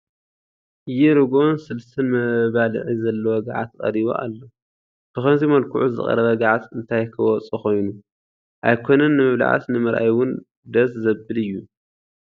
ይ ርግኦን ስልስን መባልዒ ዘለዎ ገዓት ቀሪቡ ኣሎ፡፡ ብኸምዚ መልክዑ ዝቐረበ ገዓት እንታይ ክወፆ ኮይኑ፡፡ ኣይኮነን ንምብላዕስ ንምርኣይ እውን ደስ ዘብል እዩ፡፡